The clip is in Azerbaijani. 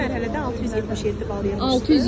Birinci mərhələdə 677 bal yığmışdı.